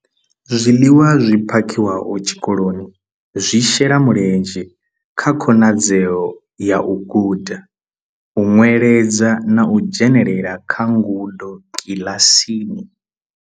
Zwiḽiwa zwi phakhiwaho tshikoloni zwi shela mulenzhe kha khonadzeo ya u guda, u nweledza na u dzhenela kha ngudo kiḽasini.